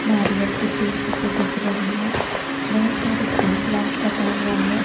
नारियल के पेड़ जैसे दिख रहे है बहोत सारे शो प्लांट लगा हुआ है।